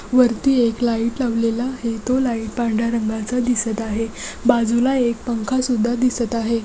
वरती एक लाइट लावलेला आहे. तो लाइट पांढर्‍या रंगाचा दिसत आहे. बाजूला एक पंखा सुद्धा दिसत आहे.